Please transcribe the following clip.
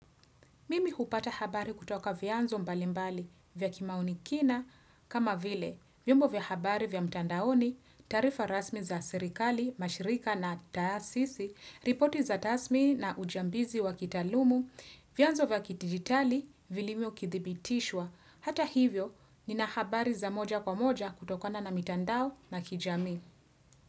Mimi hupata habari kutoka vianzo mbalimbali vya kimaoni kina kama vile, vyombo vya habari vya mtandaoni, tarifa rasmi za serikali, mashirika na taasisi, ripoti za tasmi na ujambizi wa kitalumu, vianzo vya kidigitali, vilivyo kithibitishwa. Hata hivyo, nina habari za moja kwa moja kutokona na mitandao na kijamii.